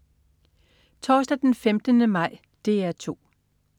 Torsdag den 15. maj - DR 2: